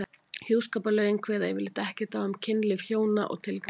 Hjúskaparlögin kveða yfirleitt ekkert á um kynlíf hjóna og tilgang þess.